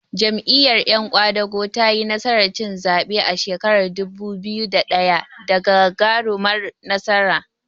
Jam'iyyar yan ƙwadago tayi nasarar cin zaɓe a shekarar dubu biyu da ɗaya da gagarumar nasara.